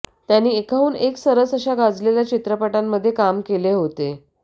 त्यांनी एकाहून एक सरस अशा गाजलेल्या चित्रपटांमध्ये काम केले होते